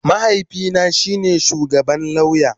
Mahaifina shi ne shugaban lauya